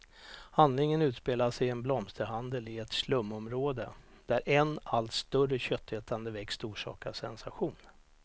Handlingen utspelas i en blomsterhandel i ett slumområde, där en allt större köttätande växt orsakar sensation.